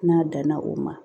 N'a danna o ma